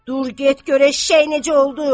Dur, get gör eşşək necə oldu!